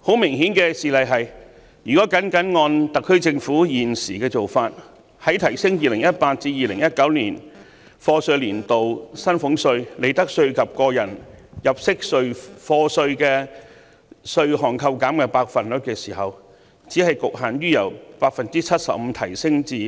很明顯的事例是，如果僅按特區政府現時的做法，在提升 2018-2019 課稅年度薪俸稅、利得稅及個人入息課稅的稅務寬免百分比時，只局限於由 75% 提